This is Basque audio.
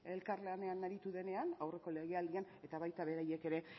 elkar lanean aritu denean aurreko legealdian eta baita beraiek ere